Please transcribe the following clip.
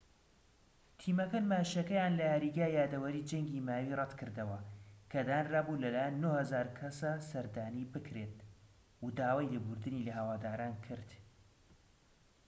تیمەکە نمایشەکەیان لە یاریگای یادەوەری جەنگی ماوی ڕەتکردەوە کە دانرا بوو لە لایەن 9,000 کەسە سەردانی بکرێت و داوای لێبوردنی لە هەواداران کرد